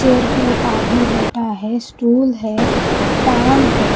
chair पर एक आदमी बैठा है स्टूल है फैन है --